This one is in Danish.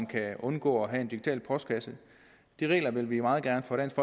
kan undgå at have en digital postkasse de regler vil vi meget gerne fra dansk